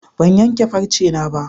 Ban yanke farcena ba.